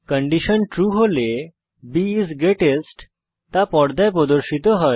condition true হলে b is greatest তা পর্দায় প্রদর্শিত হয়